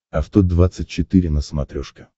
авто двадцать четыре на смотрешке